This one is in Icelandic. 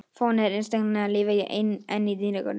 Fáeinir einstaklingar lifa enn í dýragörðum.